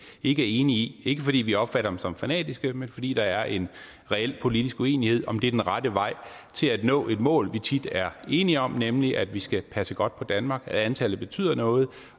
ikke er enige i ikke fordi vi opfatter dem som fanatiske men fordi der er en reel politisk uenighed om det er den rette vej til at nå et mål vi tit er enige om nemlig at vi skal passe godt på danmark at antallet betyder noget